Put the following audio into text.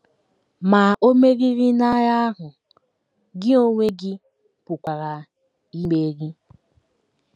Ma o meriri n’agha ahụ, gị onwe gị pụkwara imeri!